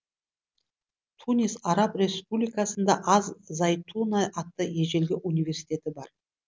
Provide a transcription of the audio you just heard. тунис араб республикасында аз зайтуна атты ежелгі университеті бар